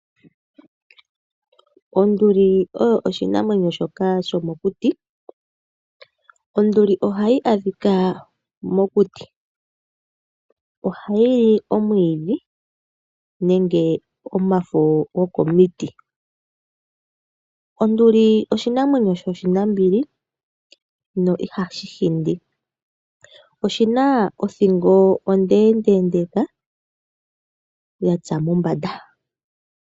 Onduli oyo oshinamwenyo shoka shomokuti, onfuli oha yi adhika mokuti, oha yi li omwiidhi nenge omago go komiti, onduli oshinamwenyo sho shinambili no iha shi hindi. Oshina othingo ondeendeka, ya tsa mombanda.